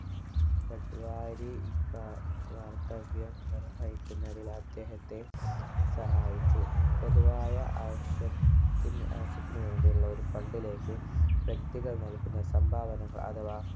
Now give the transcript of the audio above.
പെട്ടുവാരി ക കർത്തവ്യം നിർവഹിക്കുന്നതിൽ അദ്ദേഹത്തെ സഹായിച്ചു പൊതുവായ ആവശ്യത്തിൻ ആവശ്യത്തിന് വേണ്ടിയുള്ള ഒരു Fund ലേക്ക് വ്യക്തികൾ നൽകുന്ന സംഭാവനകൽ അഥവാ